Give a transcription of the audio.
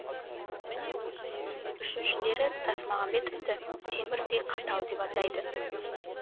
үшіншілері тасмағамбетовті темірдей қатал деп атайды